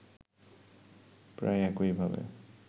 প্রায় একইভাবে